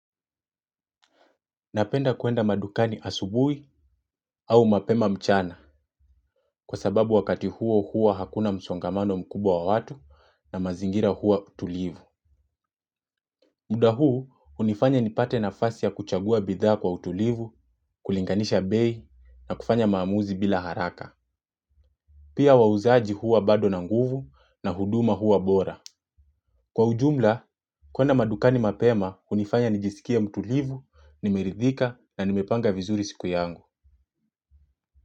Napenda kuenda madukani asubui au mapema mchana kwa sababu wakati huo huwa hakuna msongamano mkubwa wa watu na mazingira huwa tulivu. Muda huu unifanya nipate nafasi ya kuchagua bidhaa kwa utulivu, kulinganisha bei na kufanya maamuzi bila haraka. Pia wauzaaji huwa bado na nguvu na huduma huwa bora. Kwa ujumla, kuenda madukani mapema hunifanya nijisikie mutulivu, nimeridhika na nimepanga vizuri siku yangu.